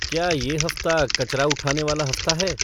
क्या ये हफ़्ता कचरा उठाने वाला हफ़्ता है